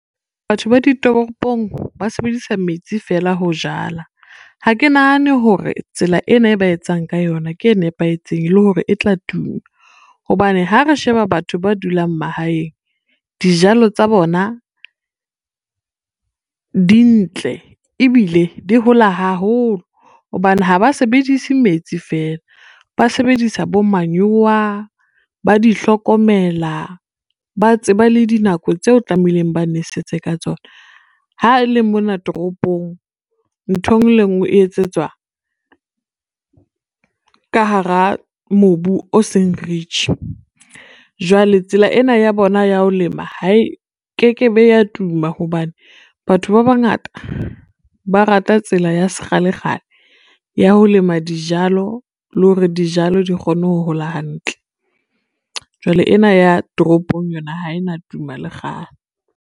Batho ba ditoropong ba sebedisa metsi fela ho jala. Ha ke nahane hore tsela ena e ba etsang ka yona ke e nepahetseng le hore e tla tuma, hobane ha re sheba batho ba dulang mahaeng dijalo tsa bona dintle ebile di hola haholo hobane ha ba sebedise metsi fela ba sebedisa bo manyowa, ba di hlokomela, ba tseba le dinako tseo tlamehileng ba nwesetse ka tsona. Ha e le mona toropong ntho e ngwe le e ngwe e etsetswa ka hara mobu o seng rich, jwale tsela ena ya bona ya ho lema hae ke kevbe ya tuma, hobane batho ba bangata ba rata tsela ya sekgalekgale ya ho lema dijalo le hore dijalo di kgone ho hola hantle, jwale ena ya toropong yona ha ena tuma lekgale.